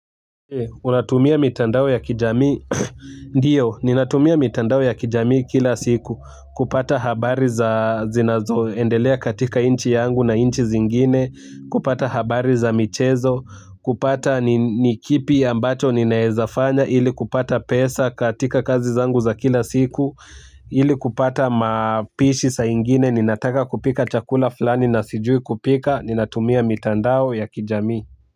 Unatumia mitandao ya kijami, ndio, ninatumia mitandao ya kijami kila siku, kupata habari za zinazo, endelea katika inchi yangu na inchi zingine, kupata habari za michezo, kupata nikipi ambacho ninaezafanya, ili kupata pesa katika kazi zangu za kila siku, ili kupata mapishi sai ingine, ninataka kupika chakula flani na sijui kupika, ninatumia mitandao ya kijami.